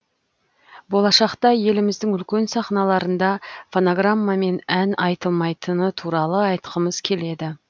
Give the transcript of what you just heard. болашақта еліміздің үлкен сахналарында фонограммамен ән айтылмайтыны туралы айтқымыз келеді